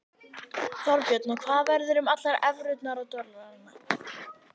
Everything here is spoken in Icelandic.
Þorbjörn: Og hvað verður um allar evrurnar og alla dollarana?